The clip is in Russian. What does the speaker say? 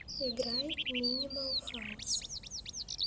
играй минимал хаус